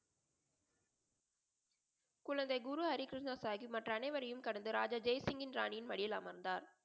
குழந்தை குரு ஹரி கிருஷ்ணா சாஹிப் மற்ற அனைவரையும் கடந்து ராஜா ஜெய் சிங்க்யின் ராணியின் மடியில் அமர்ந்தார்.